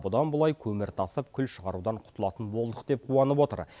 бұдан былай көмір тасып күл шығарудан құтылатын болдық деп қуанып отыр